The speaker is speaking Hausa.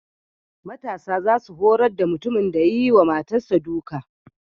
Matasa za su horar da mutumin da ya yi wa matarsa duka.